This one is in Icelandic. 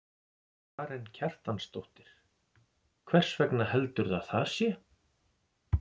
Karen Kjartansdóttir: Hvers vegna heldurðu að það sé?